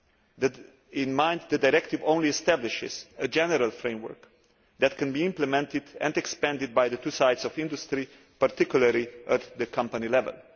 that the directive only establishes a general framework that can be implemented and expanded by the two sides of industry, particularly at company level.